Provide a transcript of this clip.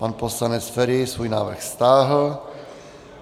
Pan poslanec Feri svůj návrh stáhl.